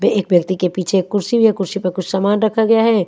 पे एक व्यक्ति के पीछे एक कुर्सी भी है कुर्सी पे कुछ समान रखा गया है।